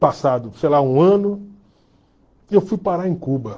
Passado, sei lá, um ano, e eu fui parar em Cuba.